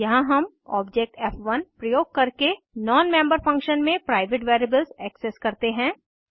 यहाँ हम ऑब्जेक्ट फ़1 प्रयोग करके नॉन मेम्बर फंक्शन में प्राइवेट वेरिएबल्स एक्सेस करते हैं